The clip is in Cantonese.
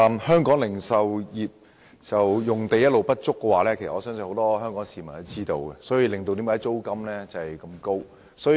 香港零售業用地一直不足，相信很多香港市民也知道，而這亦導致租金高昂。